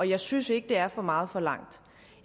jeg synes ikke det er for meget forlangt